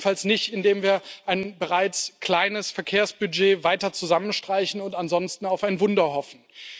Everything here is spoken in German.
Jedenfalls nicht, indem wir ein bereits kleines Verkehrsbudget weiter zusammenstreichen und ansonsten auf ein Wunder hoffen.